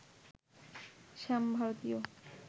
Sam ভারতীয়